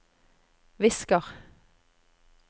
visker